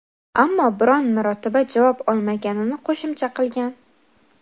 ammo biron marotaba javob olmaganini qo‘shimcha qilgan.